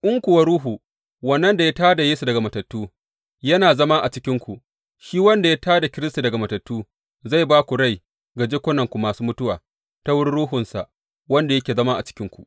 In kuwa Ruhu wannan da ya tā da Yesu daga matattu yana zama a cikinku, shi wanda ya tā da Kiristi daga matattu zai ba da rai ga jikunanku masu mutuwa ta wurin Ruhunsa, wanda yake zama a cikinku.